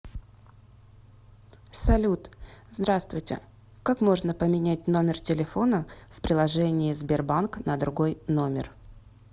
салют здравствуйте как можно поменять номер телефона в приложение сбербанк на другой номер